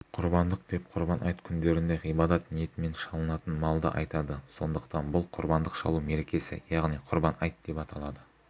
құрбандық деп құрбан айт күндерінде ғибадат ниетімен шалынатын малды айтады сондықтан бұл құрбандық шалу мерекесі яғни құрбан айт деп аталады